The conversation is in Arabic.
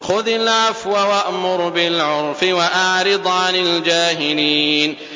خُذِ الْعَفْوَ وَأْمُرْ بِالْعُرْفِ وَأَعْرِضْ عَنِ الْجَاهِلِينَ